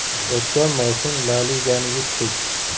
O‘tgan mavsum La Ligani yutdik.